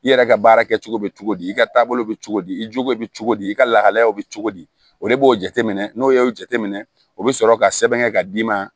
I yɛrɛ ka baara kɛcogo bɛ cogo di i ka taabolo bɛ cogo di i jogo bɛ cogo di i ka lahalaya bɛ cogo di o le b'o jateminɛ n'o y'o jateminɛ o bɛ sɔrɔ ka sɛbɛn kɛ ka d'i ma